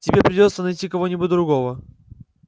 тебе придётся найти кого-нибудь другого